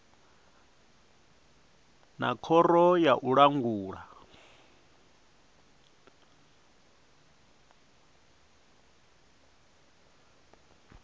na khoro ya u langula